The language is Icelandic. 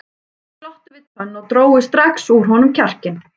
Sumir glottu við tönn og drógu strax úr honum kjarkinn.